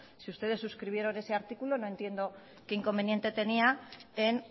si ustedes suscribieron ese artículo no entiendo qué inconveniente tenía en